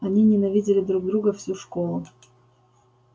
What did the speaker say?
они ненавидели друг друга всю школу